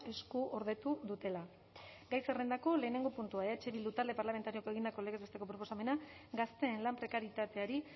eskuordetu dutela gai zerrendako lehenengo puntua eh bildu talde parlamentarioak egindako legez besteko proposamena gazteen lan prekarietateari